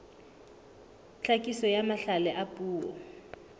tlhakiso ya mahlale a puo